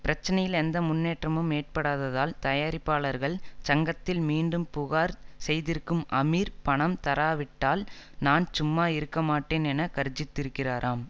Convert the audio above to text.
பிரச்சனையில் எந்த முன்னேற்றமும் ஏற்படாததால் தயாரிப்பாளர்கள் சங்கத்தில் மீண்டும் புகார் செய்திருக்கும் அமீர் பணம் தராவிட்டால் நான் சும்மா இருக்கமாட்டேன் என கர்ஜித்திருக்கிறாராம்